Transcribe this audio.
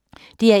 DR1